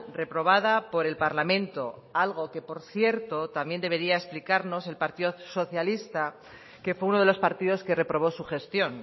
reprobada por el parlamento algo que por cierto también debería explicarnos el partido socialista que fue uno de los partidos que reprobó su gestión